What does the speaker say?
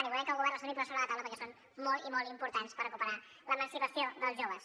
i volem que el govern els torni a posar sobre la taula perquè són molt i molt importants per recuperar l’emancipació dels joves